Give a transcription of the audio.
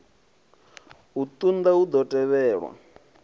sa zwenezwo hu na mavhaka